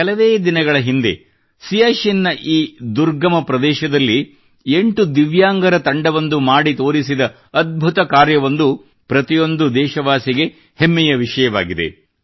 ಕೆಲವೇ ದಿನಗಳ ಹಿಂದೆ ಸಿಯಾಚಿನ್ ನ ಈ ದುರ್ಗಮ ಪ್ರದೇಶದಲ್ಲಿ 8 ದಿವ್ಯಾಂಗರ ತಂಡವೊಂದು ಮಾಡಿತೋರಿಸಿದ ಅದ್ಭುತ ಕಾರ್ಯವೊಂದು ಪ್ರತಿಯೊಬ್ಬ ದೇಶವಾಸಿಗೂ ಹೆಮ್ಮೆಯ ವಿಷಯವಾಗಿದೆ